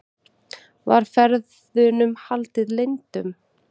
Var ferðunum haldið leyndum